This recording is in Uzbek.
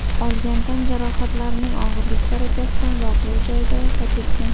olgan tan jarohatlarining og‘irlik darajasidan voqea joyida vafot etgan.